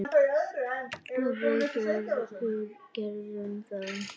Og við gerðum það.